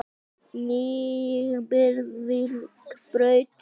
Njarðvíkurbraut